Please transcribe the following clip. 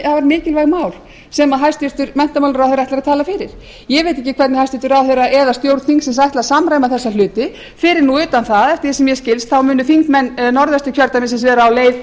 afar mikilvæg mál sem hæstvirtur menntamálaráðherra ætlar að tala fyrir ég veit ekki hvernig hæstvirtur ráðherra eða stjórn þingsins ætlar að samræma þessa hafi fyrir utan það að eftir því sem mér skilst munu þingmenn norðvesturkjördæmis vera á leið